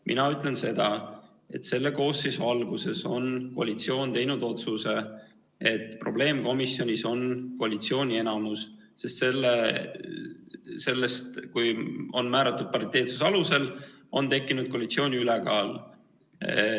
Mina ütlen seda, et selle koosseisu alguses on koalitsioon teinud otsuse, et probleemkomisjonis on koalitsiooni enamus, sest sellest, kui on määratud pariteetsuse alusel, on tekkinud koalitsiooni ülekaal.